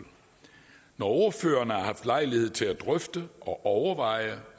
når ordførerne har haft lejlighed til at drøfte og overveje